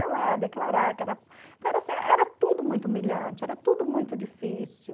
Ia lá declarar que era... Era tudo muito humilhante, era tudo muito difícil.